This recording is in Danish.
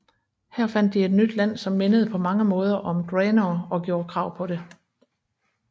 Her fandt de et nyt land som mindede på mange måder om Draenor og gjordte krav på det